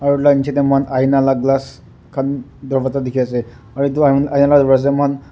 aro edu la nichae tae moikhan aina la glass khan dorvaza dikhiase aro edu .]